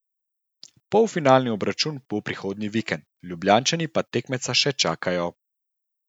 Polfinalni obračun bo prihodnji vikend, Ljubljančani pa na tekmeca še čakajo.